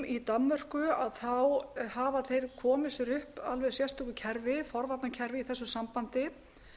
í danmörku hafa þeir komið sér upp alveg sérstöku forvarnakerfi í þessu sambandi